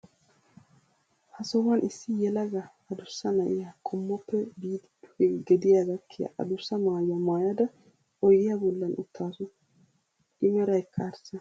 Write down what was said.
Ha sohuwan issi yelaga adussa na'iya qommoppe biidi duge gediya gakkiya adussa maayuwa maayada oydiya bollan uttaasu. I meraykka arssa.